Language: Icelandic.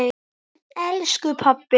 En elsku pabbi!